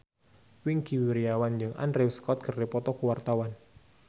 Wingky Wiryawan jeung Andrew Scott keur dipoto ku wartawan